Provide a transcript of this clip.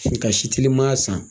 Tilikasi teliman san